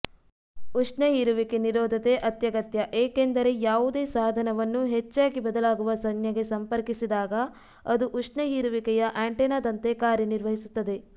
ಉಷ್ಣ ಹೀರುವಿಕೆ ನಿರೋಧತೆ ಅತ್ಯಗತ್ಯ ಏಕೆಂದರೆ ಯಾವುದೇ ಸಾಧನವನ್ನು ಹೆಚ್ಚಾಗಿ ಬದಲಾಗುವ ಸಂಜ್ನೆಗೆ ಸಂಪರ್ಕಿಸಿದಾಗ ಅದು ಉಷ್ಣಹೀರುವಿಕೆಯಆಂಟೆನಾದಂತೆ ಕಾರ್ಯ ನಿರ್ವಹಿಸುತ್ತದೆ